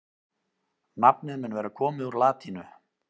nafnið mun vera komið úr latínu